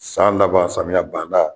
San laban samiyɛ banda